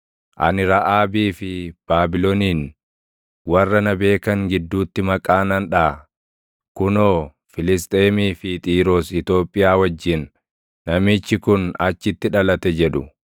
“Ani Raʼaabii fi Baabilonin warra na beekan gidduutti maqaa nan dhaʼa; kunoo, Filisxeemii fi Xiiroos Itoophiyaa wajjin, ‘Namichi kun achitti dhalate’ jedhu.”